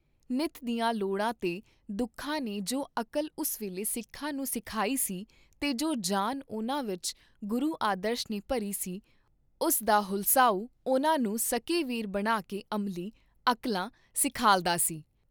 ਨਿੱਤ ਦੀਆਂ ਲੋੜਾਂ ਤੇ ਦੁਖਾਂ ਨੇ ਜੋ ਅਕਲ ਉਸ ਵੇਲੇ ਸਿੱਖਾਂ ਨੂੰ ਸਿਖਾਈ ਸੀ ਤੇ ਜੋ ਜਾਨ ਉਨ੍ਹਾਂ ਵਿਚ ਗੁਰੂ ਆਦਰਸ਼ ਨੇ ਭਰੀ ਸੀ, ਉਸ ਦਾ ਹੁਲਸਾਉਂ ਉਨ੍ਹਾਂ ਨੂੰ ਸੱਕੇ ਵੀਰ ਬਣਾ ਕੇ ਅਮਲੀ, ਅਕਲਾਂ ਸਿਖਾਲਦਾ ਸੀ।